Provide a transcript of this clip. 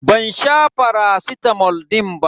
Ban sha faracitamol din ba.